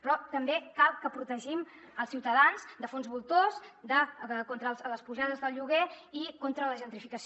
però també cal que protegim els ciutadans de fons voltors contra les pujades del lloguer i contra la gentrificació